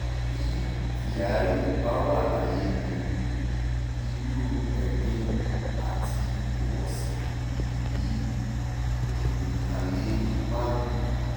bí kyari bá wà láyé ni irú ẹ̀gbin àti ìwọ̀sí yìí kò ní í ta lé magu